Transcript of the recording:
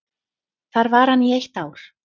Þar var hann í eitt ár.